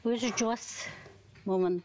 өзі жуас момын